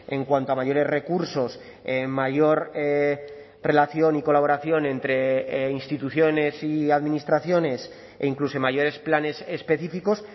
en cuanto a mayores recursos mayor relación y colaboración entre instituciones y administraciones e incluso mayores planes específicos